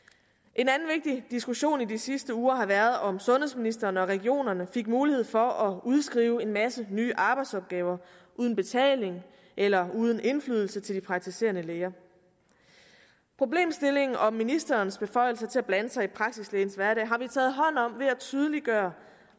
en anden vigtig diskussion i de sidste uger har været om sundhedsministeren og regionerne fik mulighed for at udskrive en masse nye arbejdsopgaver uden betaling eller uden indflydelse til de praktiserende læger problemstillingen om ministerens beføjelser til at blande sig i praksislægens hverdag har vi taget hånd om ved at tydeliggøre